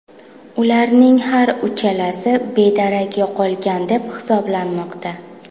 Ularning har uchalasi bedarak yo‘qolgan deb hisoblanmoqda.